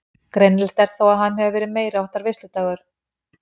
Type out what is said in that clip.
Greinilegt er þó að hann hefur verið meiriháttar veisludagur.